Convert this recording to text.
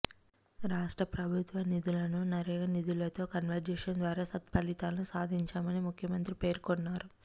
రాష్ట్ర ప్రభుత్వ నిధులను నరేగా నిధులతో కన్వర్జెన్స్ ద్వారా సత్ఫలితాలను సాధించాం అని ముఖ్యమంత్రి పేర్కొన్నారు